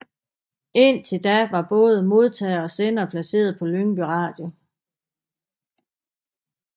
Indtil da var både modtagere og sendere placeret på Lyngby Radio